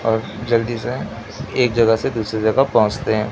और जल्दी से एक जगह से दूसरे जगह पहोचते--